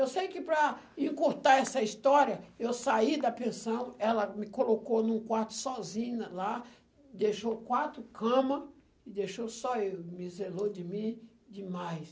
Eu sei que para encurtar essa história, eu saí da pensão, ela me colocou num quarto sozinho lá, deixou quatro camas e deixou só eu, me zelou de mim demais.